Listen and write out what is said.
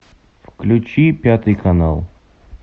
включи пятый канал